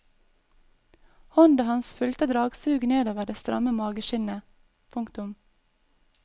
Hånda hans fulgte dragsuget nedover det stramme mageskinnet. punktum